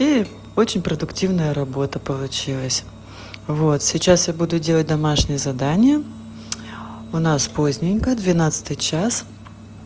и очень продуктивная работа получилось вот сейчас я буду делать домашнее задание у нас поздненько двенадцатый час